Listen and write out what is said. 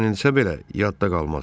Öyrənilsə belə yadda qalmaz.